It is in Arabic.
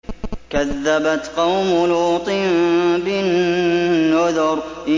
كَذَّبَتْ قَوْمُ لُوطٍ بِالنُّذُرِ